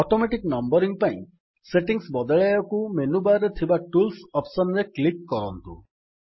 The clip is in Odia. ଅଟୋମେଟିକ୍ ନମୱରିଙ୍ଗ୍ ପାଇଁ ସେଟିଙ୍ଗ୍ ବଦଳାଇବକୁ ମେନୁ ବାର୍ ରେ ଥିବା ଟୁଲ୍ସ ଅପ୍ସନ୍ ରେ କ୍ଲିକ୍ କରନ୍ତୁ